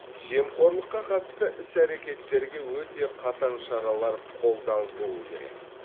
жемқорлыққа қатысты іс әрекеттерге өте қатаң шаралар қолданылуы керек